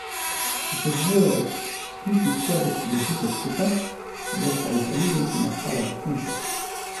Če se dvoje od vzklitih stebelc držita skupaj, bosta iz zaljubljencev nastala zakonca.